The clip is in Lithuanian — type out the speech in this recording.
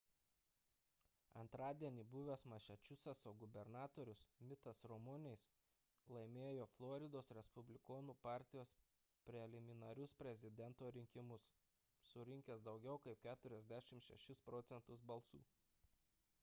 antradienį buvęs masačusetso gubernatorius mittas romney'is laimėjo floridos respublikonų partijos preliminarinius prezidento rinkimus surinkęs daugiau kaip 46 proc. balsų